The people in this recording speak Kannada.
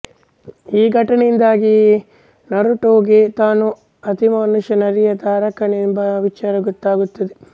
ಈ ಘಟನೆಯಿಂದಾಗಿ ನರುಟೊಗೆ ತಾನು ಅತಿಮಾನುಷ ನರಿಯ ಧಾರಕನೆಂಬ ವಿಚಾರ ಗೊತ್ತಾಗುತ್ತದೆ